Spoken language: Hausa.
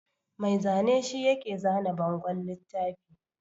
Mai zane shi yake zana bangon littafi